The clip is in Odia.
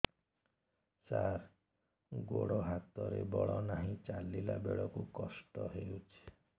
ସାର ଗୋଡୋ ହାତରେ ବଳ ନାହିଁ ଚାଲିଲା ବେଳକୁ କଷ୍ଟ ହେଉଛି